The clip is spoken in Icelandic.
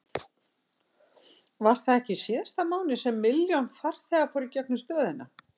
Var það ekki í síðasta mánuði sem milljón farþegar fóru í gegnum stöðina?